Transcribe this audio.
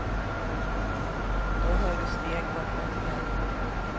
Då hör du steg bakom dig.